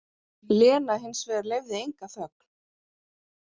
Lena hins vegar leyfði enga þögn.